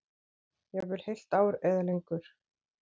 Jafnvel heilt ár eða lengur.